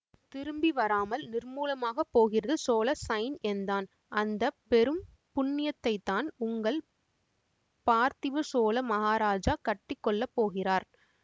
திரும்பி வராமல் நிர்மூலமாகப் போகிறது சோழ சைன்யந்தான் அந்த பெரும் புண்ணியத்தைத்தான் உங்கள் பார்த்திப சோழ மகாராஜா கட்டி கொள்ள போகிறார்